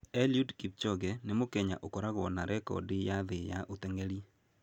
Eliud Kipchoge nĩ Mũkenya ũkoragwo na rekondi ya thĩ ya ũteng'eri.